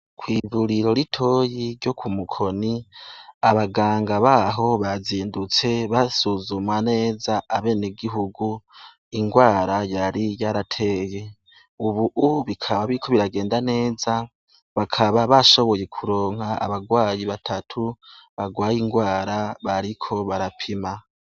Kw'ivuriro ritoyi ryo kumukoni abaganga baho bazindutse basuzuma neza abenegihugu ingwara yari yarateye. Ubu bikaba biriko biragenda neza bakaba bashoboye kuronka abagwayi batatu bagwaye ingwara bariko barapima.